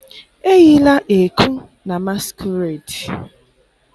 eyila ẹku na masquerade!